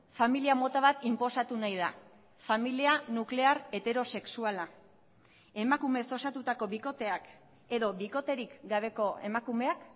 familia mota bat inposatu nahi da familia nuklear heterosexuala emakumeez osatutako bikoteak edo bikoterik gabeko emakumeak